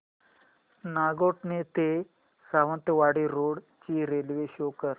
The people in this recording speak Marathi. नागोठणे ते सावंतवाडी रोड ची रेल्वे शो कर